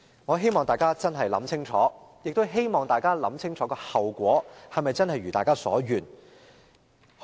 我希望大家認真想清楚，亦希望大家想清楚後果是否真的會如大家所願。